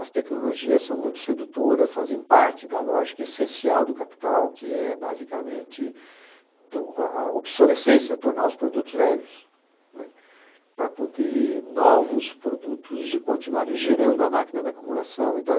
As tecnologias são muito sedutoras, fazem parte da lógica essencial do capital, que é basicamente a obsolescência, tornar os produtos velhos, né, para poder novos produtos continuarem gerando a máquina da acumulação e tal.